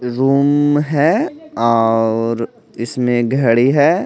Room है और इसमें घड़ी है।